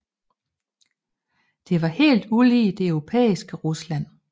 Det var helt ulig det europæiske Rusland